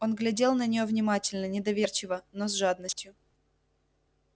он глядел на нее внимательно недоверчи-во но с жадностью